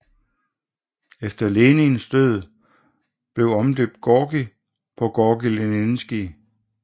Efter Lenins død blev omdøbt Gorki på Gorki Leninskije